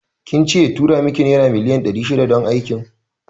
Kince ya tura miki naira miliyan ɗari shida don Aikin?